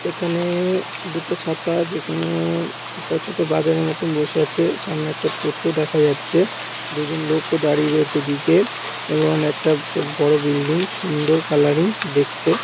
এখানে দুটো ছাতা যেখানে একটা ছোট বাজারের মতন বসে আছে সামনে একটা টোটো দেখা যাচ্ছে। দুজন লোকও দাঁড়িয়ে রয়েছে এদিকে এবং একটা চোক বড় বিল্ডিং সুন্দর কালারিং দেখতে।